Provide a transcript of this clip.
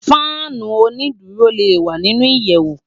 Fànú ónìdúró lé wá ninú iyèwú